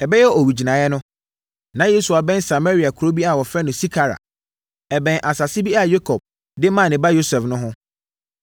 Ɛbɛyɛ owigyinaeɛ no, na Yesu abɛn Samaria kuro bi a wɔfrɛ no Sikar a ɛbɛn asase bi a Yakob de maa ne ba Yosef no ho.